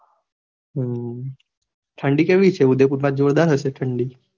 હમ ઠંડી કેવી છે ઉદયપુર માં, જોરદાર હશે ઠંડી?